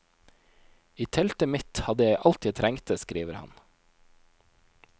I teltet mitt hadde jeg alt jeg trengte, skriver han.